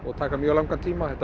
taka mjög langan tíma þetta